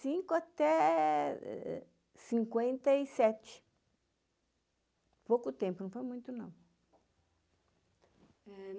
cinco até cinquenta e sete. Pouco tempo, não foi muito não.